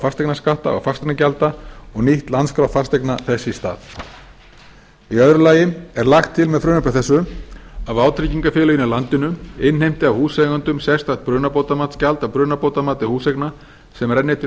fasteignaskatta og fasteignagjalda og nýtt landskrá fasteigna þess í stað í öðru lagi er lagt til með frumvarpi þessu að vátryggingafélögin í landinu innheimti af húseigendum sérstakt brunabótamatsgjald af brunabótamati húseigna sem renni til